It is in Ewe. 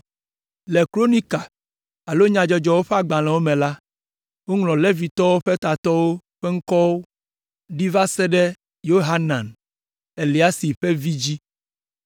Le Kronika alo Nyadzɔdzɔwo ƒe Agbalẽwo me la, woŋlɔ Levitɔwo ƒe tatɔwo ƒe ŋkɔwo ɖi va se ɖe Yohanan, Eliasib ƒe vi dzi.